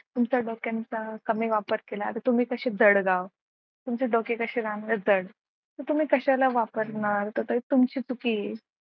तुमच्या डोक्यानुसार कमी वापर केला तर तुम्ही कसे जळगाव, तुमचे डोके कसे राहतात जड तर तुम्ही कशाला वापरणार तर तुमची चुकी आहे.